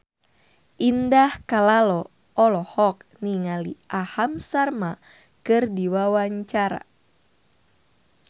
Indah Kalalo olohok ningali Aham Sharma keur diwawancara